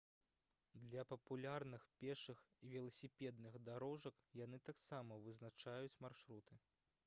для папулярных пешых і веласіпедных дарожак яны таксама вызначаюць маршруты